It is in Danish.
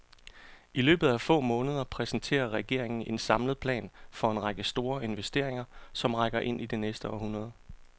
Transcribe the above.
I løbet af få måneder præsenterer regeringen en samlet plan for en række store investeringer, som rækker ind i det næste århundrede.